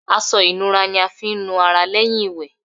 Aṣọ ìnura ni a fi ń nu ara lẹ́yìn ìwẹ̀.